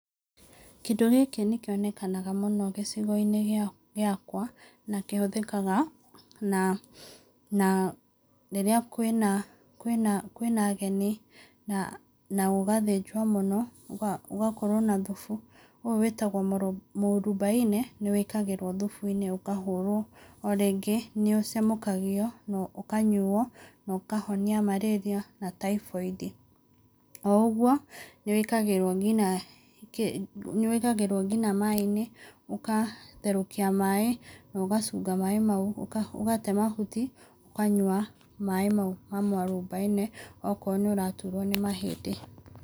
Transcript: Kĩndũ gĩkĩ nĩ kĩonekaga mũno gĩcigo-inĩ gĩakwa na kĩhũthĩkaga na na rĩrĩa kwĩna kwĩna kwĩna ageni na gũgathĩnjwo mũno, gũgakorwo na thubu. Ũyũ wĩĩtagwo mũrubaine, nĩ wĩkagĩrwo thubu-inĩ ũkahũrwo. O rĩngĩ, nĩ ũcemũkagio na ũkanyuo na ũkahonia malaria na typhoid. O ũguo, nĩ wĩkagĩrwo nĩ wĩkagĩrwo nginya maaĩ-inĩ, ũkatherũkia maaĩ na ũgacunga maaĩ mau, ũgate mahuti, ũkanyua maaĩ mau ma mũarobaine okorwo nĩ ũraturwo nĩ mahĩndĩ.